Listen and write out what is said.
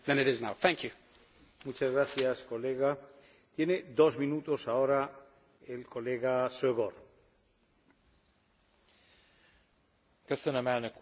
Örömömre szolgál, hogy a legalapvetőbb európai emberi jogi dokumentumhoz való csatlakozással az Unió újabb lépést tesz egy valóban egységes Európa kialakítása felé